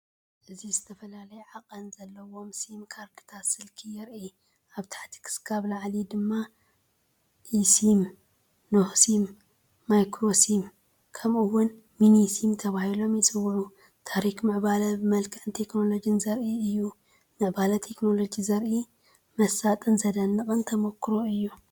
እዚ ዝተፈላለየ ዓቐን ዘለዎም ሲም ካርድታት ስልኪ የርኢ። ካብ ታሕቲ ክሳብ ላዕሊ ድማ ኢሲም፡ ናኖ ሲም፡ ማይክሮ ሲም፡ ከምኡ’ውን ሚኒ ሲም ተባሂሎም ይጽውዑ። ታሪኽ ምዕባለ ብመልክዕን ቴክኖሎጅን ዘርኢ እዩ። ምዕባለ ቴክኖሎጂ ዘርኢ መሳጥን ዘደንቕን ተመክሮ እዩ።